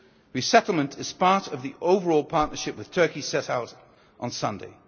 Europe. Resettlement is part of the overall partnership with Turkey set out on